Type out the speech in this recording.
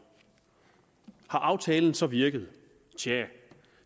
har aftalen så virket tjah